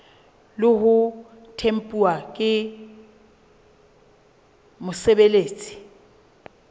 le ho tempuwa ke mosebeletsi